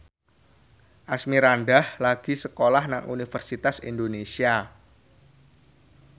Asmirandah lagi sekolah nang Universitas Indonesia